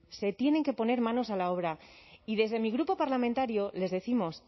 se tienen que poner manos a la obra y desde mi grupo parlamentario les décimos